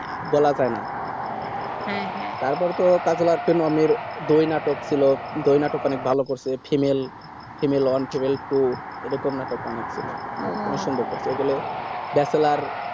বলা যাই হ্যাঁ হ্যাঁ তারপর তো কাজলার film দুই নাটক ছিল দুই নাটক অনেক ভালো করছিলো female fimale one female two এরকম নাটক অনেক ছিল খুব সুন্দর এইগুলা bachelor